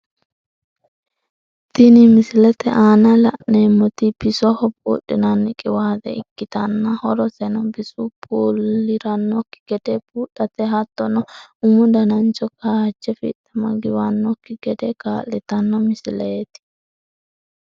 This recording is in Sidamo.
Tinni misilete aanna la'neemoti bisoho buudhinaanni qiwaate ikitanna horoseno bisu buliranoki gide buudhate hattono umu dananchi kaaje fixama giwanoki gede kaa'litanno misileeti.